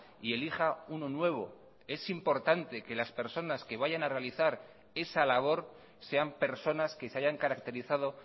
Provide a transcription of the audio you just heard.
y elija uno nuevo es importante que las personas que vayan a realizar esa labor sean personas que se hayan caracterizado